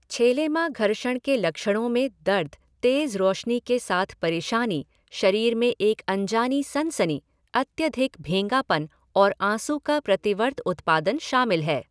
छेलेमा घर्षण के लक्षणों में दर्द, तेज रोशनी के साथ परेशानी, शरीर में एक अनजानी सनसनी, अत्यधिक भेंगापन, और आँसू का प्रतिवर्त उत्पादन शामिल है।